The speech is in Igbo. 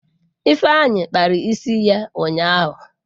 Ifeanyi kpara isi ya ụnyahụ.